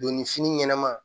Donni fini ɲɛnɛma